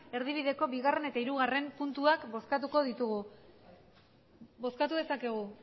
erdibideko bigarren eta hirugarren puntuak bozkatu ditugu bozkatu dezakegu